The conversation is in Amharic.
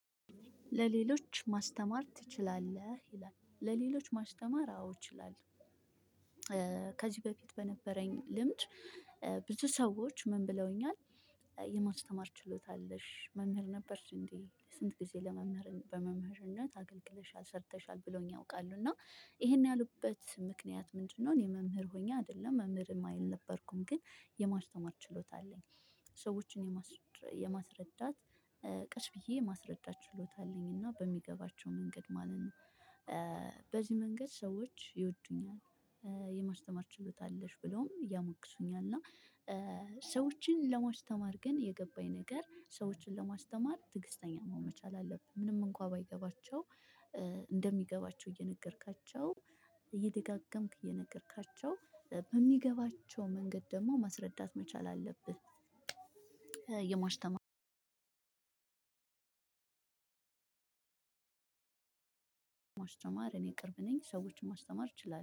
ለሌሎች ማስተማር ትችላለህ። ይላል ለሌሎች ማስተማር አዎ እችላለሁ ከዚህ በፊት በነበረኝ ልምድ ብዙ ሰዎች ምን ብለውኛል የማስተማር ችሎታ አለሽ መምህር ነበርሽ እንዴ ስንት ጊዜ ለመምህር በመምህርነት አገልግለሻል ሰርተሻል ብለውኝ ያውቃሉ እና ይሄን ያሉበት ምክንያት ምንድነው እኔ የመምህር ሆኜ አይደለም መምህር አልነበርኩም ግን የማስተማር ችሎታ አለኝ። ሰዎችን የማስረዳት ቀስ ብዬ የማስረዳት ችሎታ አለኝ እና በሚገባቸው መንገድ ማለት ነው። በዚህ መንገድ ሰዎች ይወዱኛል የማስተማር ችሎታ አለሽ ብለውም ያሞግሱኛል እና ሰዎችን ለማስተማር ግን የገባኝ ነገር ሰዎችን ለማስተማር ትዕግስተኛ መሆን መቻል አለብህ ምንም እንኳን ባይገባቸው እንደሚገባቸው እየነገርካቸው እየደጋገምክ እየነገርካቸው በሚገባቸው መንገድ ደግሞ ማስረዳት መቻል አለብህ የማሽተማ ለማስተማር እኔ ቅርብ ነኝ ሰዎችን ማስተማር እችላለሁ።